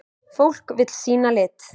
Fólk vill sýna lit.